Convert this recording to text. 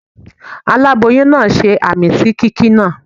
Aláboyún náà ṣe àmín sí kíkí náà.